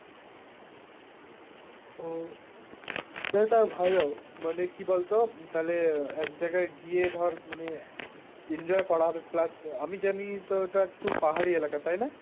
উহ তো তাও ভালো, মানে কী বলতো তালে এক জাগায় গিয়ে ধর মানে enjoy করা হবে plus আমি জানি তো ওটা একটু পাহাড়ী এলাকা তাই না?